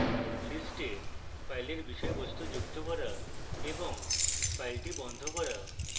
list file বিষয়বস্তু যুক্ত করা এবং file বন্ধ করা